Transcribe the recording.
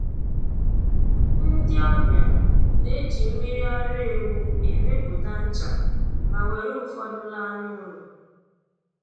Ndị ọbịa na-eji mmiri ara ewu emepụta ncha ma were ụfọdụ laa n'ụlọ